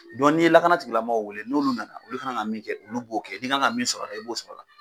n'i ye lakana tigila maaw wele n'olu nana olu k'an ka min kɛ olu b'o kɛ i' kan ka min sɔrɔ ala i b'o sɔrɔ ala.